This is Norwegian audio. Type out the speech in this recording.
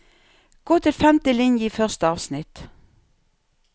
Gå til femte linje i første avsnitt